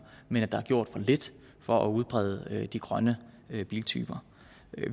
men at der er gjort for lidt for at udbrede de grønne biltyper